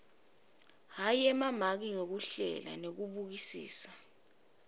emamaki ngekuhlela nekubukisisa